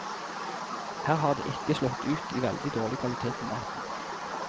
Her har det ikke slått ut i veldig dårlig kvalitet på maten.